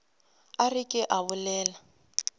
a re ke a bolela